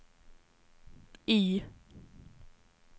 Y